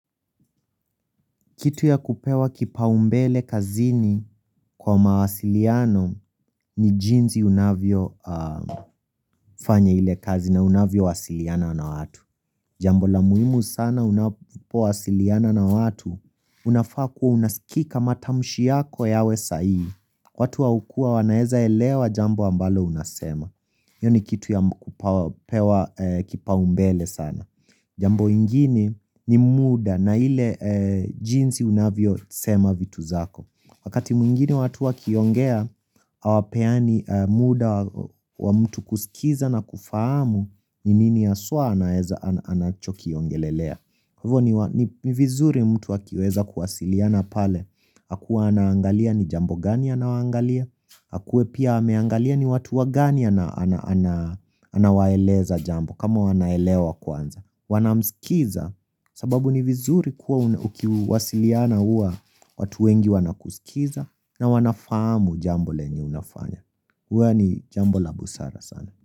Kitu ya kupewa kipaumbele kazini kwa mawasiliano ni jinsi unavyo fanya ile kazi na unavyo wasiliana na watu. Jambo la muimu sana unapo wasiliana na watu, unafaa kuwa unaskika matamshi yako yawe sahihii. Watu wa ukua wanaeza elewa jambo ambalo unasema. Yaani kitu ya kupewa kipaumbele sana. Jambo ingini ni muda na ile jinsi unavyo sema vitu zako. Wakati mwingine watu wakiongea, hawapeani muda wa mtu kusikiza na kufahamu ni nini haswa anachokiongelelea. Hivo ni vizuri mtu akiweza kuwasiliana pale Hakuwa anaangalia ni jambo gani anawaangalia akuwe pia ameangalia ni watu wagani anawaeleza jambo kama wanaelewa kwanza Wanamsikiza sababu ni vizuri kuwa ukiwasiliana huwa watu wengi wanakusikiza na wanafamu jambo lenye unafanya huwa ni jambo la busara sana.